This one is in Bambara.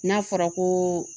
N'a fɔra ko